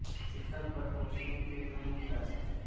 शिखर प़र पहुंचने के दो मुख्य रास्ते हैं